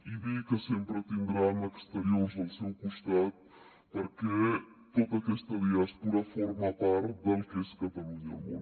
i dir que sempre tindran exteriors al seu costat perquè tota aquesta diàspora forma part del que és catalunya al món